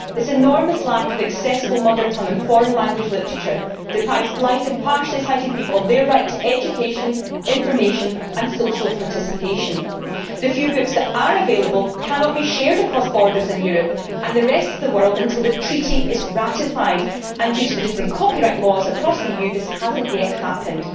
This enormous lack of accessible mother tongue and foreign language literature deprives blind and partially sighted people of their right to education, information and social participation. The few books that are available cannot be shared across borders in Europe and the rest of the world until the Treaty is ratified, and due to the different copyright laws across the EU this has not yet happened.